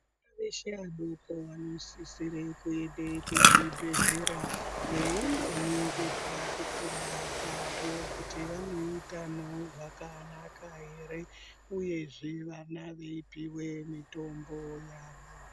Vana veshe vadoko vanosisire kuende kuzvibhehlera veindoningirwa kukura kwavo kuti vane utano hwakanaka ere uyezve vana veipuwe mitombo yavo.